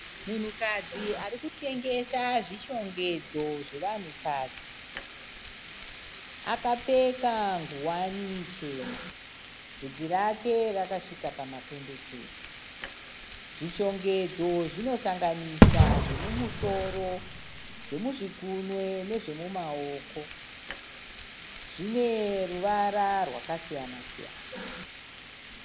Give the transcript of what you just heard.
Munhukadzi arikutengesa zvishongedzo zvevanhu kadzi. Akapfeka nguwani chena. Vhudzi rake rakasvika pama pendekete. Zvishongedzo zvinosanganisa zvemumusoro, zvemuzvigunwe nezve mumaoko. Zvine ruvara rwaka siyana-siyana.